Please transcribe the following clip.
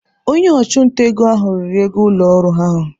Onye ọchụnta ego ahụ riri ego ụlọ ọrụ ahụ.